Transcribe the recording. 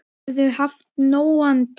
Þau höfðu haft nógan tíma.